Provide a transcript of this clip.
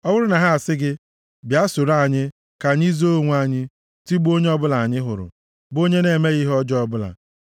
Ọ bụrụ na ha asị gị, “Bịa soro anyị; ka anyị zoo onwe anyị, tigbuo onye ọbụla anyị hụrụ, bụ onye na-emeghị ihe ọjọọ ọbụla.